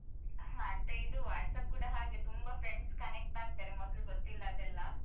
ಹೌದು ಮತ್ತೆ ಇದು WhatsApp ಕೂಡ ಹಾಗೆ ತುಂಬಾ friends connect ಆಗ್ತಾರೆ ಮೊದ್ಲು ಗೊತ್ತಿಲ್ಲದೆಲ್ಲಾ